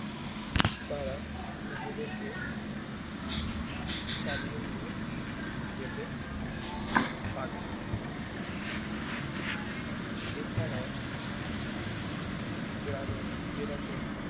তারা নিজেদেরকে চালিয়ে নিয়ে যেতে পারছে এছাড়াও গ্রামে যেরকম